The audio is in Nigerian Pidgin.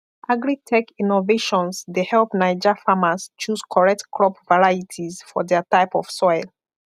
agritech innovations dey help naija farmers choose correct crop varieties for their type of soil